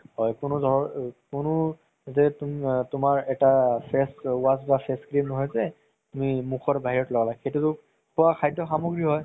হয় কোনো ধৰ কোনো যে তুমাৰ এটা হৈছে তুমি মুখৰ বাহিৰত লগুৱা সেইটো খুৱা সামগ্ৰ হয়